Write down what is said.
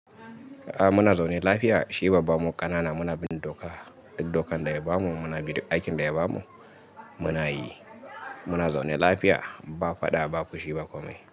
A muna zaune lafiya, shi babba mu ƙanana muna bin doka. Diddokanda ya bamu munabu duk aikin daya bamu munayi. Muna zaune lafiya ba faɗa ba fushi ba komai.